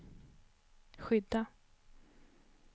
skydda